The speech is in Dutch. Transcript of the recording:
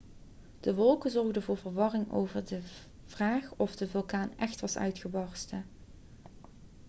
de wolken zorgden voor verwarring over de vraag of de vulkaan echt was uitgebarsten